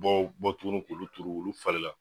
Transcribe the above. Dɔw bɔ tuguni k'olu turu olu falen la.